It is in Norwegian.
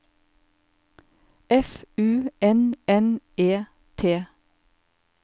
F U N N E T